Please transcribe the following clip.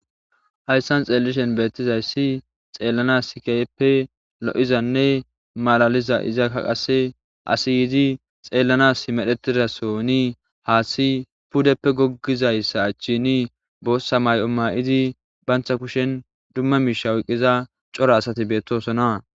ayssan xeellishen beettizayssi xeellana sikeyeppe lo7izanne malaliza izakka qase asi yiizi xeellanas medhetidasoni haaththi pudeppe goggizayssa achchini boossa mayqo maa7izi bantha kushen dumma miishawuqqiza cora asati beettosona